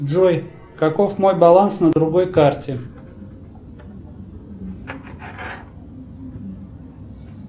джой каков мой баланс на другой карте